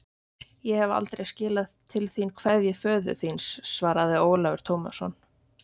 Ég hef aldrei skilað til þín kveðju föður þíns, svaraði Ólafur Tómasson.